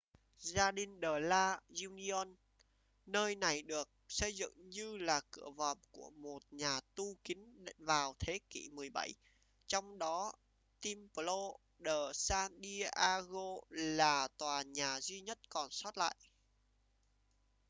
jardín de la unión nơi này được xây dựng như là cửa vòm của một nhà tu kín vào thế kỷ 17 trong đó templo de san diego là tòa nhà duy nhất còn sót lại